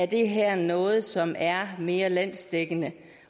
det her er noget som er mere landsdækkende